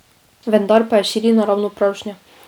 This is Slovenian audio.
Vendar pa je širina ravno pravšnja.